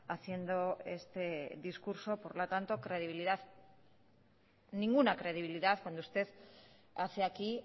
haciendo este discurso por lo tanto credibilidad ninguna credibilidad cuando usted hace aquí